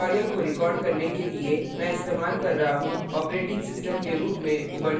इस tutorial को record करने के लिए मैं इस्तेमाल कर रहा हूँ operating system के रूप में उबंटू 1110